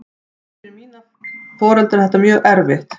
En fyrir foreldra mína er þetta mjög erfitt.